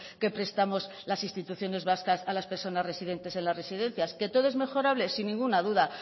que prestamos las instituciones vascas a las personas residentes en las residencias qué todo es mejorable sin ninguna duda